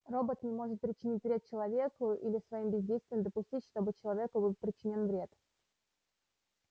робот не может причинить вред человеку или своим бездействием допустить чтобы человеку был причинён вред